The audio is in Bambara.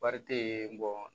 Wari te yen